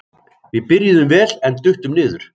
Við byrjuðum vel en duttum niður.